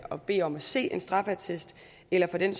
at bede om at se en straffeattest eller for den